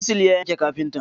Chisel ya yanke kafinta.